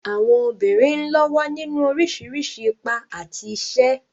Àwọn obìnrin ń lọ́wọ́ nínú oríṣiríṣi ipa àti iṣẹ́.